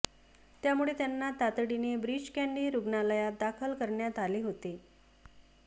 त्यामुळे त्यांना तातडीने ब्रीच कँडी रुग्णालयात दाखल करण्यात आले होते